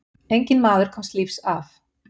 Enginn maður komst lífs af.